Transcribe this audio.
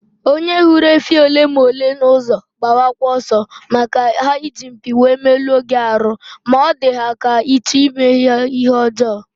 Onye hụrụ efi ole ma ole na ụzọ gbabakwa ọsọ, maka ha iji mpi wee meluo gị arụ ma ọ dị ha ka ịchọ ime ha ihe ọjọọ